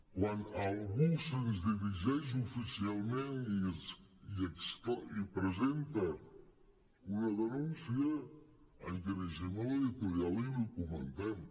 quan algú se’ns dirigeix oficialment i presenta una denúncia ens dirigim a l’editorial i l’hi comentem